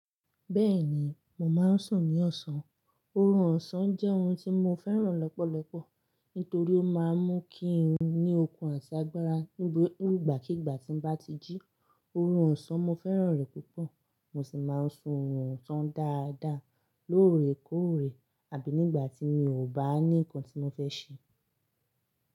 Bẹ́ẹ̀ni, mo máa ń sùn ní ọ̀sán. Oorun ọ̀sán jẹ́ ohun tí mo fẹ́ràn lọ́pọ̀lọpọ̀, nítorí ó máa ń mú kí n ní okun àti agbára nígbàkigbà tí ń bá ti jí. Oorun ọ̀sán, mo fẹ́ràn rẹ̀ púpọ̀. Mo sì máa ń sun ọ̀sán dáadáa, lóòrèkóòrè àbí nígbà tí mi ò bá ní nǹkan tí mo fẹ́ ṣe.